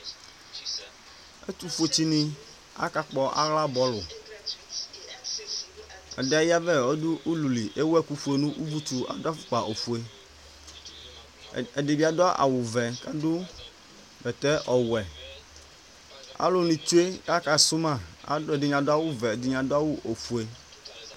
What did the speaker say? ɛtufue dini ka kpɔ aɣla bɔlu ɛdi ayavɛ kɔ du ululi ewu ɛku fue nu uvutsu adu afokpa ofue ɛdibi adu awu ofue ku adu bɛtɛ ɔwɛ aluni tsue ku akasu ma ɛdini adu awu vɛ ɛdini adu awu fue